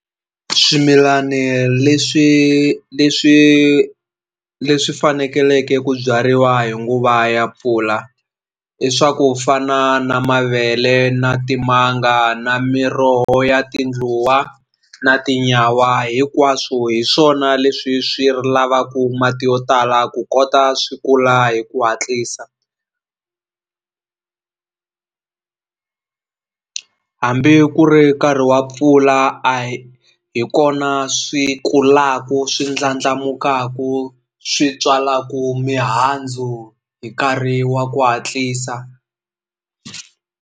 Swimilani leswi leswi leswi fanekeleke ku byariwa hi nguva ya mpfula i swa ku fana na mavele na timanga na miroho ya tindluwa na tinyawa hinkwaswo hi swona leswi swi lavaku mati yo tala ku kota swi kula hi ku hatlisa hambi ku ri nkarhi wa mpfula a hi hi kona swi kulaku swi ndlandlamukaku swi tswalaku mihandzu hi nkarhi wa ku hatlisa.